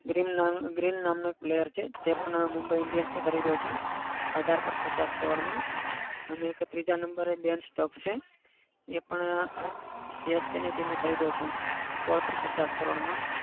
Green, green નામનો એક player છે. તે પણ mumbai indians એ ખરીદ્યો છે. અઢાર point પચાસ કરોડમાં અને એક ત્રીજા number એ બેન સ્ટોક્સ એ પણ અમ CSKteam એ ખરીદ્યો છે. સોલ point પચાસ કરોડમાં.